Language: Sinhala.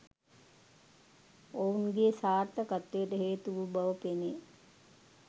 ඔවුන්ගේ සාර්ථකත්වයට හේතු වූ බව පෙනේ